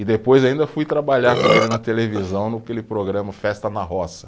E depois ainda fui trabalhar com ele na televisão, naquele programa Festa na Roça.